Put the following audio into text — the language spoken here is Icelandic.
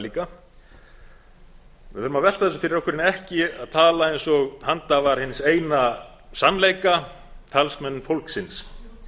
líka við þurfum að velta þessu fyrir okkur en ekki tala eins og handhafar hins eina sannleika talsmenn fólksins